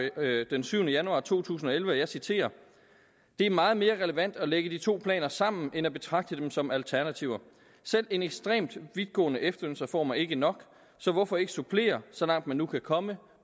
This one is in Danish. den syvende januar to tusind og elleve og jeg citerer det er meget mere relevant at lægge de to planer sammen end at betragte dem som alternativer selv en ekstremt vidtgående efterlønsreform er ikke nok så hvorfor ikke supplere så langt man nu kan komme